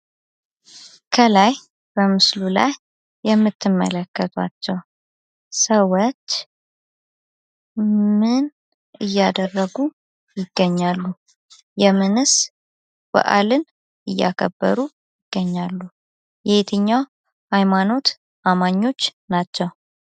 ከላይ በምስሉ ላይ የምትመለከቷቸው ሰዎች ምን እያደረጉ ይገኛሉ? የምንስ በአልን እያከበሩ ይገኛሉ? የየትኛው ሃይማኖት ተከታይ ናቸው?